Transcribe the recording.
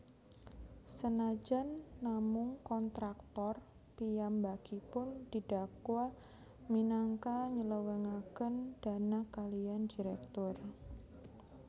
Senajan namung kontraktor piyambakipun didakwa minangka nylewengaken dana kaliyan direktur